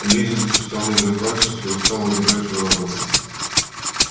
лизанька встала из-за пальцев и стала убирать свою работу